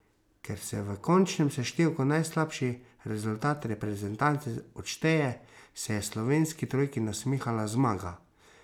Ker se v končnem seštevku najslabši rezultat reprezentance odšteje, se je slovenski trojki nasmihala zmaga.